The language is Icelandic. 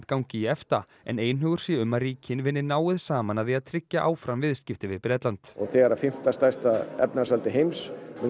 gangi í EFTA en einhugur sé um að ríkin vinni náið saman að því að tryggja áfram viðskipti við Bretland og þegar fimmta stærsta efnahagsveldi heims